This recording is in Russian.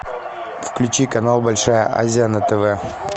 включи канал большая азия на тв